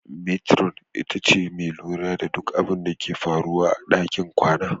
Metiron ita ce mai lura da duk abinda ke faruwa a ɗakin kwana.